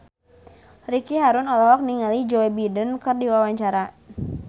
Ricky Harun olohok ningali Joe Biden keur diwawancara